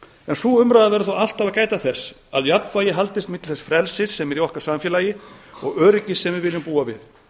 sú umræða verður þó alltaf að gæta þess að jafnvægi haldist milli þess frelsis sem er í okkar samfélagi og öryggis sem við viljum búa við